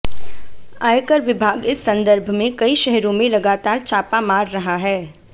आयकर विभाग इस संदर्भ में कई शहरों में लगातार छापा मार रहा है